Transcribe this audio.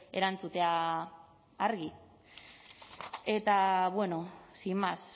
erantzutea argi eta bueno sin más